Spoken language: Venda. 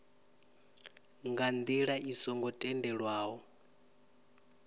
nga ndila i songo tendelwaho